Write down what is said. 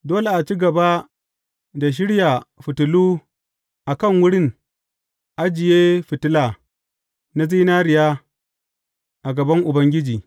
Dole a ci gaba da shirya fitilu a kan wurin ajiye fitila na zinariya, a gaban Ubangiji.